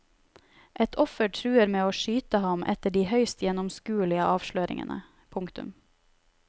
Et offer truer med å skyte ham etter de høyst gjennomskuelige avsløringene. punktum